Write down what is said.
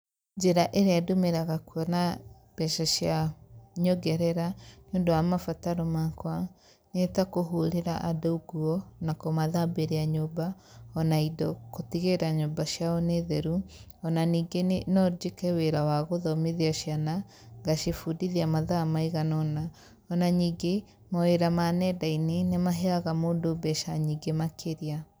Njĩra ĩrĩa ndũmagĩra kuona mbeca cia nyongerera nĩũndũ wa mabataro makwa nĩtakũhũrĩra andũ nguo na kũmathambĩria nyũmba, ona indo gũtigĩrĩra nyũmba ciao nĩ theru, ona ningĩ no njĩke wĩra wa gũthomithia ciana ngacibundithia mathaa maiganaona, ona ningĩ, mawĩra ma nyenda-inĩ, nĩ maheaga mũndũ mbeca nyingĩ makĩria.